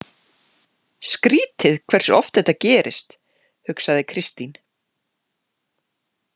Skrítið hversu oft þetta gerist, hugsaði Kristín.